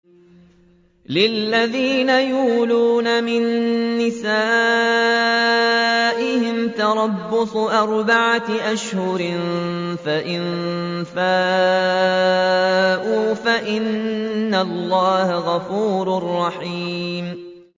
لِّلَّذِينَ يُؤْلُونَ مِن نِّسَائِهِمْ تَرَبُّصُ أَرْبَعَةِ أَشْهُرٍ ۖ فَإِن فَاءُوا فَإِنَّ اللَّهَ غَفُورٌ رَّحِيمٌ